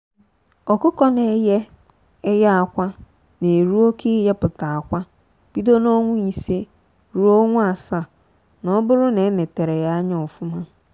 ọkụkọ na eye eye akwa na eru oke ịyeputa akwa bido n'ọnwa ise ruo ọnwa asaa n'oburu na enetere ha anya ofụma.